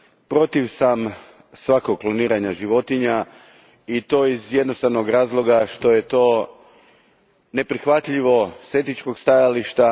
Protiv sam svakog kloniranja životinja i to iz jednostavnog razloga što je to neprihvatljivo s etičkog stajališta.